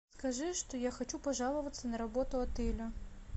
скажи что я хочу пожаловаться на работу отеля